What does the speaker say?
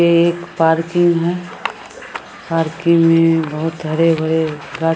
ये एक पार्किंग है पार्किंग में बहुत हरे-भरे --